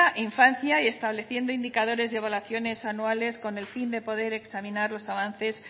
e infancia y estableciendo indicadores de evaluaciones anuales con el fin de poder examinar los avances